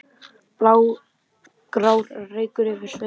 blágrár reykur yfir sveif